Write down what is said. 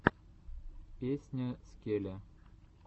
песня скеле